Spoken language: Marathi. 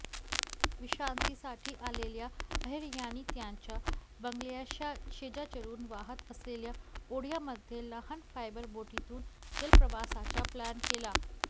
विश्रांतीसाठी आलेल्या अहिर यांनी त्यांच्या बंगल्याशेजारून वाहत असलेल्या ओढयामध्ये लहान फायबर बोटीतून जलप्रवासाचा प्लॅन केला